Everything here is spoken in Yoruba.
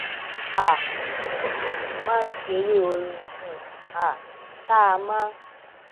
um máa ń ṣeré orin um um tá a máa